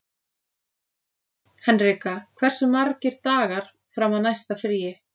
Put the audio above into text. Henrika, hversu margir dagar fram að næsta fríi?